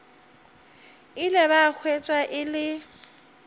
ile ba hwetša e le